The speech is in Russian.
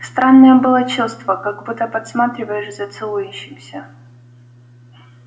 странное было чувство как будто подсматриваешь за целующимися